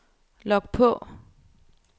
log på